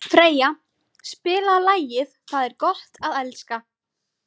Freyja, spilaðu lagið „Það er gott að elska“.